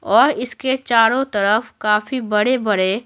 और इसके चारों तरफ काफी बड़े-बड़े--